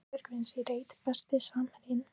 Maggi Björgvins í reit Besti samherjinn?